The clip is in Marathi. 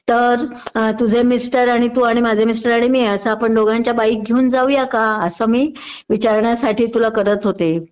तर तुझे मिस्टर आणि तू आणि माझे मिस्टर आणि मी असं आपण दोंघांच्या बाईक घेऊन जाऊया का असं मी विचारण्यासाठी तुला करत होते